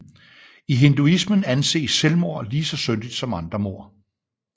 I hinduismen anses selvmord lige så syndigt som andre mord